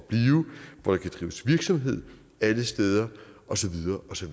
hvor der kan drives virksomhed alle steder og så videre og så